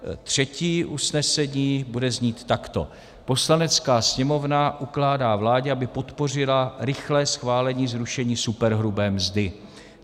Třetí usnesení bude znít takto: Poslanecká sněmovna ukládá vládě, aby podpořila rychlé schválení zrušení superhrubé mzdy.